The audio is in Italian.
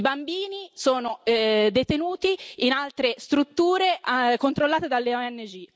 I bambini sono detenuti in altre strutture controllate dalle ONG.